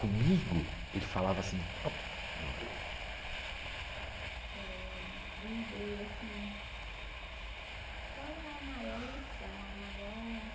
Comigo, ele falava assim... É e assim, qual é a maior lição, a maior...